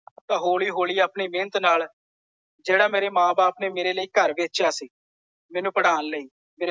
ਤੇ ਹੌਲ਼ੀ ਹੌਲ਼ੀ ਆਪਣੀ ਮਿਹਨਤ ਨਾਲ ਜਿਹੜਾ ਮੇਰੇ ਮਾਂ ਬਾਪ ਨੇ ਮੇਰੇ ਲਈ ਘਰ ਵੇਚਿਆ ਸੀ ਮੈਨੂੰ ਪੜਾਉਣ ਲਈ।